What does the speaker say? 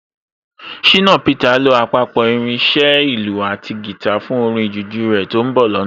Ṣìnà Peter lo àpapọ̀ irin iṣẹ́ ìlù àti guitar fún orin jùjú rẹ̀ tó ń bọ̀ lọ́nà